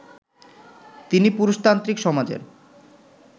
তিনি পুরুষতান্ত্রিক সমাজের